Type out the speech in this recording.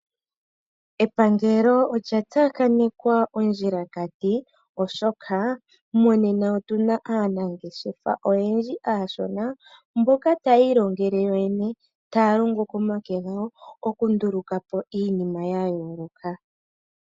Epangelo olya tsakanekwa ondjilakati oshoka monena otuna aanangeshefa oyendji aashona mboka tayi ilongele yoyene taa longo komake gawo okumdulukapo iinima yayooloka.